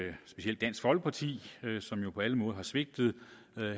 at specielt dansk folkeparti som jo på alle måder har svigtet